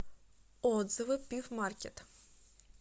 отзывы пивъмаркет